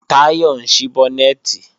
Táyọ̀ ń ṣí bọ́nẹ̀tì